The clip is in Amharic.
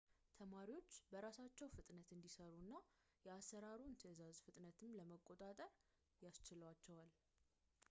ተማሪዎች በራሳቸው ፍጥነት እንዲሰሩ እና የአሰራሩን ትዕዛዝ ፍጥነትም ለመቆጣጠር ያስችላቸዋል